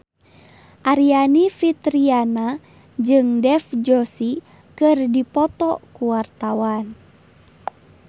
Aryani Fitriana jeung Dev Joshi keur dipoto ku wartawan